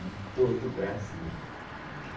em todo o Brasil.